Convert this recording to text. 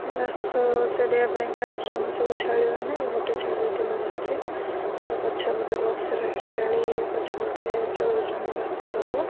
ଘାସ ଚରିବା ପାଇଁକା ଆସୁଚନ୍ତି ସବୁ ଛେଳିମାନେ ଗୋଟେ ଛେଳି ଏଠି ବସିଚି ଗୋଟେ ପଛେ ପଟେ ବକ୍ସ ରେ ଛେଳି ପଛେ ପଟେ ଚରୁଚନ୍ତି ଘାସ ସବୁ।